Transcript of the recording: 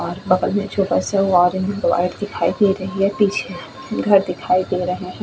और बगल में छोटा सा दिखाई दे रही है पीछे घर दिखाई दे रहे हैं।